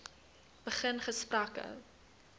begin gesprekke